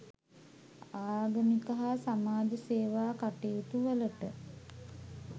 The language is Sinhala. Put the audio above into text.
ආගමික හා සමාජ සේවා කටයුතුවලට